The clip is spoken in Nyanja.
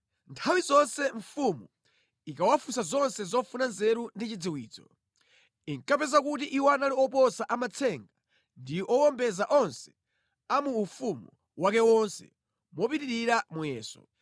Nthawi zonse mfumu ikawafunsa zonse zofuna nzeru ndi chidziwitso, inkapeza kuti iwo anali oposa amatsenga ndi owombeza onse a mu ufumu wake wonse mopitirira muyeso.